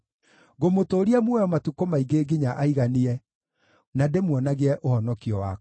Ngũmũtũũria muoyo matukũ maingĩ nginya aiganie, na ndĩmuonagie ũhonokio wakwa.”